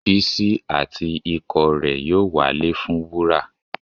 Bísí àti ikọ̀ rẹ yóò walẹ̀ fún wúrà.